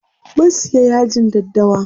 Mun siya yajin daddawa.